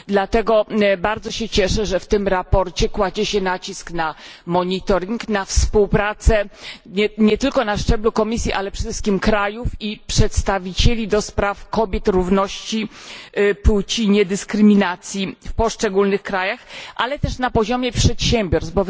Dlatego bardzo się cieszę, że w tym sprawozdaniu kładzie się nacisk na monitoring, na współpracę nie tylko na szczeblu Komisji, ale przede wszystkim krajów i przedstawicieli do spraw kobiet, równości płci i niedyskryminacji w poszczególnych krajach, ale też na poziomie przedsiębiorstw.